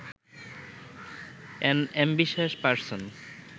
unambitious person